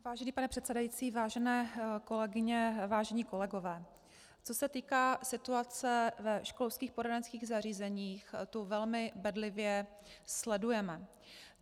Vážený pane předsedající, vážené kolegyně, vážení kolegové, co se týká situace ve školských poradenských zařízeních, tu velmi bedlivě sledujeme.